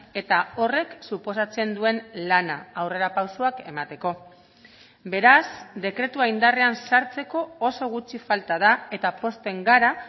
eta horrek suposatzen duen lana aurrerapausoak emateko beraz dekretua indarrean sartzeko oso gutxi falta da eta pozten gara